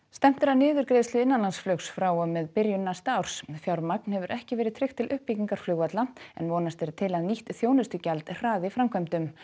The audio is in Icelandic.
stefnt er að niðurgreiðslu innanlandsflugs frá og með byrjun næsta árs fjármagn hefur ekki verið tryggt til uppbyggingar flugvalla en vonast er til að nýtt þjónustugjald hraði framkvæmdum